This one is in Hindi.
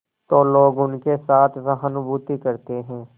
तो लोग उनके साथ सहानुभूति करते हैं